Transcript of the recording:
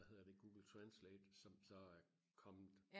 hvad hedder det Google Translate som så er kommet